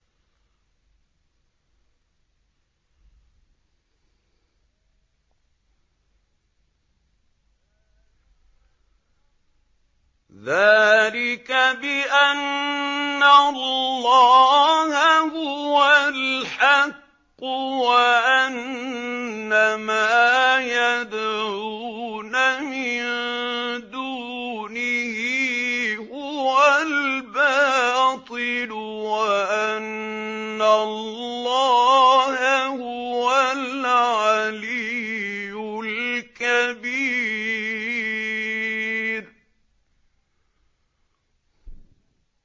ذَٰلِكَ بِأَنَّ اللَّهَ هُوَ الْحَقُّ وَأَنَّ مَا يَدْعُونَ مِن دُونِهِ هُوَ الْبَاطِلُ وَأَنَّ اللَّهَ هُوَ الْعَلِيُّ الْكَبِيرُ